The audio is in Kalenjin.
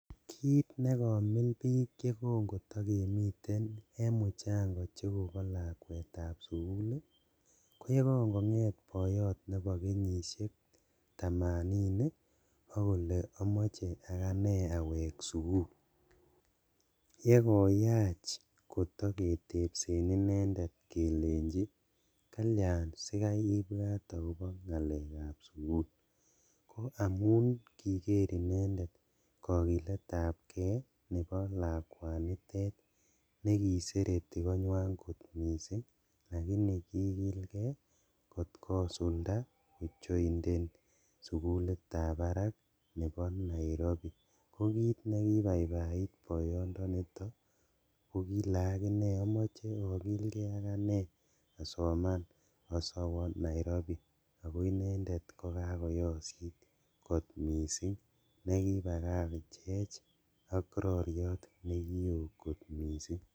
Kit nekomil bik yekon kitokemiten en muchango chekobo lakwetab sugul ii koyen kongonget boyot nebo kenyishek tamanini ok kole omoche akanee awek sugul yekoyach kotoketepsen inendet kelenji kalian sikai ibwat akobo ngalekab sugul amun kiker inendet kokiletab kee nebo lakwanitet nekisereti koinywan kot missing' lakini kigilkee kot kosulda kojoinden sugulitab barak nebo Nairobi kokit nekibaibait boyondonito kokile omoche okilkee aganee asoman owo Nairobi ako inendet kokakoyosit kot missing' nekibakach ok roriot nekio kot missing'